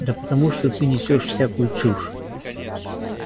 да потому что ты несёшь всякую чушь